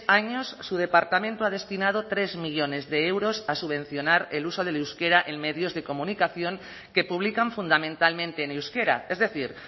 años su departamento ha destinado tres millónes de euros a subvencionar el uso del euskera en medios de comunicación que publican fundamentalmente en euskera es decir